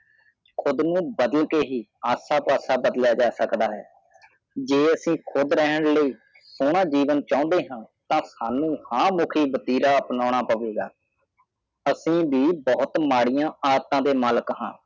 ਖੁਦ ਨੂੰ ਬਦਲ ਕੇ ਹੀ ਐਸਾ ਪਾਸਾ ਜਾ ਸਕਦਾ ਹੈ ਜੇ ਆਸੀ ਕਖੁਸ਼ ਰਹਿਣ ਲਈ ਸੁਨਾ ਜੀਵਨ ਚੌਂਦੇ ਹਾਂ ਤਾ ਸਾਨੁੰਜਾ ਮੁਖੀ ਦੇਵਾ ਅਪਨਾਨਾ ਪਾਉਗਾ ਅਸੀਂ ਵੀ ਬਹੁਤ ਮਾੜੀਆਂ ਆਦਤਾਂ ਦੇ ਮਾਲਕ ਹ